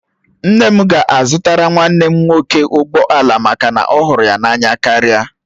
Nne m ga-azụtara nwanne m nwoke ụgbọ ala maka na ọ hụrụ ya n'anya karịa